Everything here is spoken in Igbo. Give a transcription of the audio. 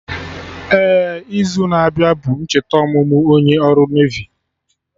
Ee, izu na-abịa bụ ncheta ọmụmụ onye ọrụ Nevi